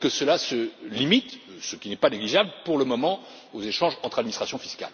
que cela se limite ce qui n'est pas négligeable pour le moment aux échanges entre administrations fiscales.